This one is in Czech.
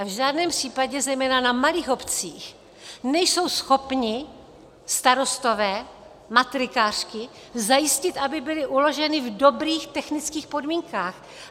A v žádném případě zejména na malých obcích nejsou schopni starostové, matrikářky zajistit, aby byly uloženy v dobrých technických podmínkách.